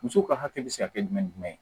Musow ka hakɛ be se ka kɛ jumɛn ye